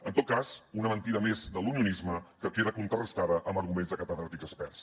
en tot cas una mentida més de l’unionisme que queda contrarestada amb arguments de catedràtics experts